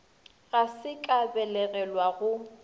ga se ka belegelwa go